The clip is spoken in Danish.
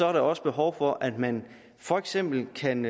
er der også behov for at man for eksempel kan